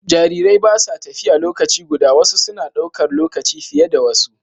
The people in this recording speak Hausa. Jarirai ba sa tafiya lokaci guda, wasu suna ɗaukar lokaci fiye da wasu